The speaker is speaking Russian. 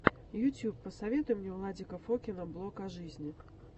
ютьюб посоветуй мне владика фокина блог о жизни